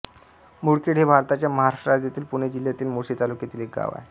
मुळखेड हे भारताच्या महाराष्ट्र राज्यातील पुणे जिल्ह्यातील मुळशी तालुक्यातील एक गाव आहे